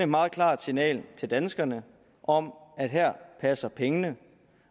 meget klart signal til danskerne om at her passer pengene